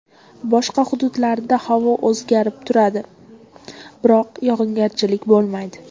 Boshqa hududlarida havo o‘zgarib turadi, biroq yog‘ingarchilik bo‘lmaydi.